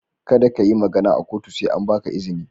Kada ka yi magana a kotu sai an ba ka izini.